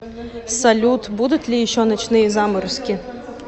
салют будут ли еще ночные заморозки